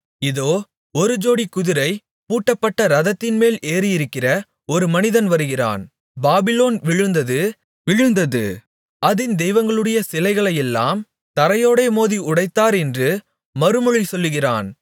இதோ ஒரு ஜோடி குதிரை பூட்டப்பட்ட இரதத்தின்மேல் ஏறியிருக்கிற ஒரு மனிதன் வருகிறான் பாபிலோன் விழுந்தது விழுந்தது அதின் தெய்வங்களுடைய சிலைகளையெல்லாம் தரையோடே மோதி உடைத்தார் என்று மறுமொழி சொல்கிறான்